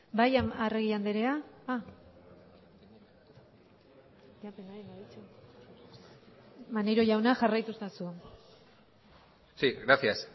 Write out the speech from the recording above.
bai arregi andrea maneiro jauna jarraitu ezazu sí gracias